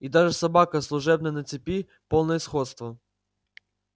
и даже собака служебная на цепи полное сходство